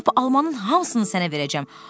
Lap almanın hamısını sənə verəcəm."